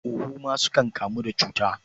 Huhu ma sukan kamu da cuta.